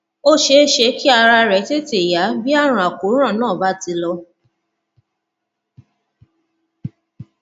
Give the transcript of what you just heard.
ó ṣeé ṣe kí ara rẹ tètè yá bí àrùn àkóràn náà bá ti lọ